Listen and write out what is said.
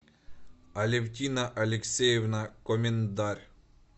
алевтина алексеевна комендарь